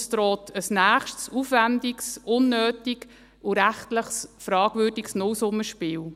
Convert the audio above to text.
Es droht ein nächstes, aufwendiges, unnötiges und rechtlich fragwürdiges Nullsummenspiel.